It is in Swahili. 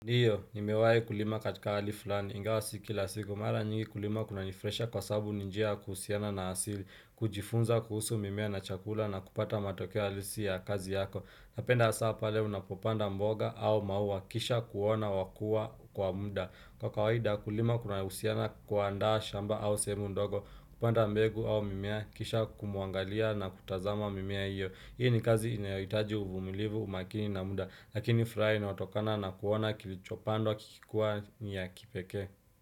Ndio, nimewahi kulima katika hali fulani, ingawa si kila siku, mara nyingi kulima kuna nifurahisha kwa sabu ninjia ya kuhusiana na asili, kujifunza kuhusu mimea na chakula na kupata matokeo halisi ya kazi yako, napenda hasa pale unapopanda mboga au maua, kisha kuona wakua kwa muda, kwa kawaida kulima kuna husiana kuanda shamba au sehemu ndogo, kupanda mbegu au mimea, kisha kumwangalia na kutazama mimea hiyo Hii ni kazi inayohitaji uvumilivu umakini na muda Lakini furaha inayotokana na kuona kilichopandwa kikikua ni ya kipekee.